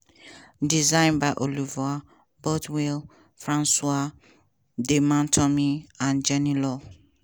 design by oliver bothwell françois de montremy and jenny law.